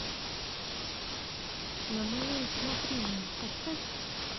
на мое усмотрение поставь